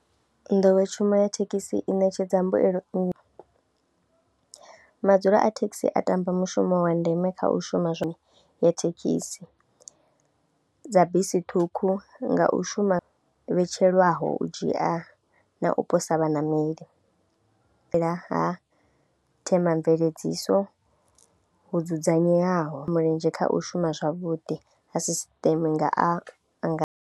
Nḓowetshumo ya thekhisi i ṋetshedza mbuyelo nnzhi, madzula a thekhisi a ṱamba mushumo wa ndeme kha u shuma zwone ya thekhisi, dza bisi ṱhukhu nga u shuma vhetshelwaho u dzhia na u posa vhaṋameli nga ha themamveledziso ho dzudzanyiwaho, mulenzhe kha u shuma zwavhuḓi ha sisṱeme nga a nga.